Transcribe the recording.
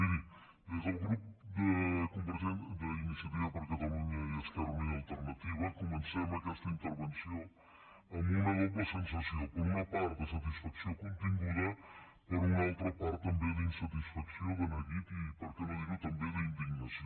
miri des del grup d’iniciativa per catalunya esquerra unida i alternativa comencem aquesta intervenció amb una doble sensació per una part de satisfacció continguda per una altra part també d’insatisfacció de neguit i per què no dir ho també d’indignació